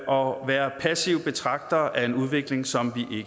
og være passive betragtere af en udvikling som